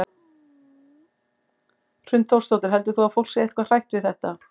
Hrund Þórsdóttir: Heldur þú að fólk sé eitthvað hrætt við þetta?